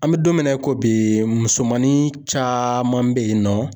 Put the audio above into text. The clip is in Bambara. An bɛ don min na i ko bi musomannin caman beyinɔ.